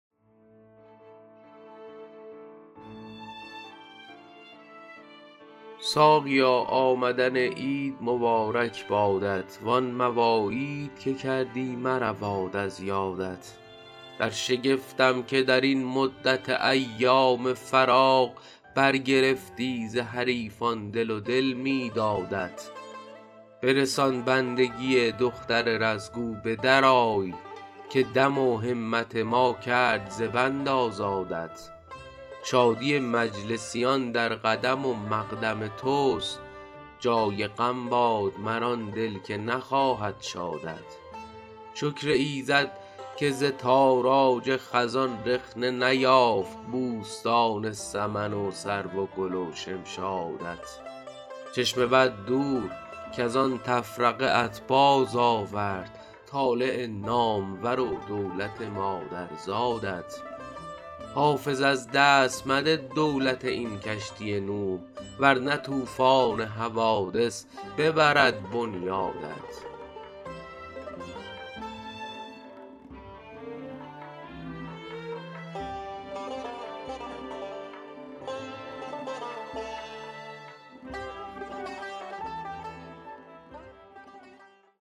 ساقیا آمدن عید مبارک بادت وان مواعید که کردی مرود از یادت در شگفتم که در این مدت ایام فراق برگرفتی ز حریفان دل و دل می دادت برسان بندگی دختر رز گو به درآی که دم و همت ما کرد ز بند آزادت شادی مجلسیان در قدم و مقدم توست جای غم باد مر آن دل که نخواهد شادت شکر ایزد که ز تاراج خزان رخنه نیافت بوستان سمن و سرو و گل و شمشادت چشم بد دور کز آن تفرقه ات بازآورد طالع نامور و دولت مادرزادت حافظ از دست مده دولت این کشتی نوح ور نه طوفان حوادث ببرد بنیادت